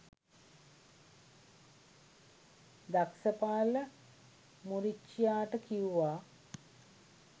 දක්සපාල මුරිච්චියාට කියුවා